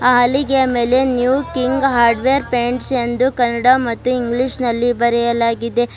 ಹಾಲಿಗೆಯ ಮೇಲೆ new king hardware paints ಎಂದು ಕನ್ನಡ ಮತ್ತು ಇಂಗ್ಲೀಷಿನಲ್ಲಿ ಬರೆಯಲಾಗಿದೆ.